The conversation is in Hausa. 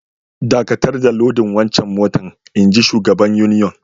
Dakatar da lodin wancan motan, inji shugaban union.